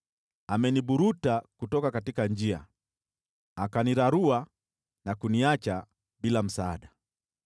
ameniburuta kutoka njia, akanirarua na kuniacha bila msaada.